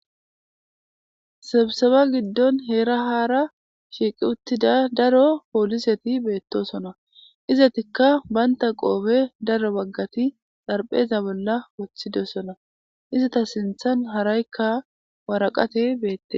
sebiseba giddon heera haara shiiqi uttida daro pooliseti beettosona izatikka baynta qoobe daro baggati xarpheeza bolla woththidessona izata sinthan haraykka waraqate beette